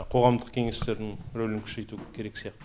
қоғамдық кеңестердің рөлін күшейту керек сияқты